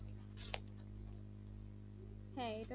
হ্যাঁ